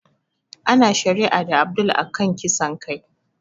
Ana shari'a da Abdul a kan kisan kai